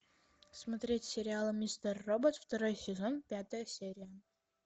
смотреть сериал мистер робот второй сезон пятая серия